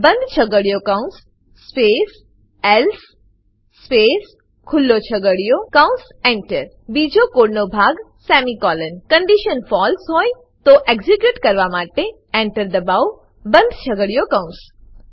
બંધ છગડીયો કૌંસ સ્પેસ એલ્સે સ્પેસ ખુલ્લો છગડીયો કૌંસ Enter બીજા કોડ નો ભાગ સેમિકોલોન કન્ડીશન ફળસે હોય તો એક્ઝીક્યુટ કરવા માટે Enter દબાવો બંધ છગડીયો કૌંસ